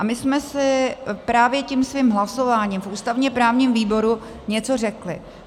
A my jsme si právě tím svým hlasováním v ústavně-právním výboru něco řekli.